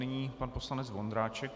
Nyní pan poslanec Vondráček.